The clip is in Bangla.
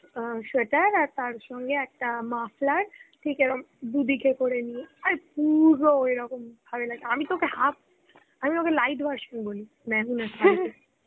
sweater তার সঙ্গে একটা muffler ঠিক এ রকম করে আর পুরো আমি তো ওকে half, আমি তো ওকে lite version বলি Hindi শারুখ এর.